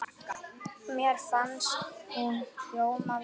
Mér fannst hún hljóma vel.